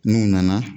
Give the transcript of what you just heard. N'u nana